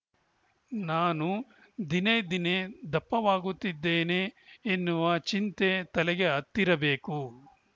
ನಾನು ದಿನೇ ದಿನೇ ದಪ್ಪವಾಗುತ್ತಿದ್ದೇನೆ ಎನ್ನುವ ಚಿಂತೆ ತಲೆಗೆ ಹತ್ತಿರಬೇಕು